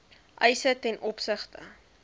eise ten opsigte